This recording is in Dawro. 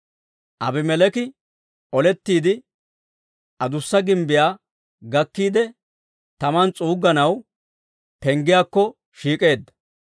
Aabimeleeki olettiide adussa gimbbiyaa gakkiide, taman s'uugganaw penggiyaakko shiik'eedda.